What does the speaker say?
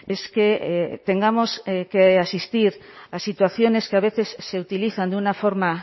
es que tengamos que asistir a situaciones que a veces se utilizan de una forma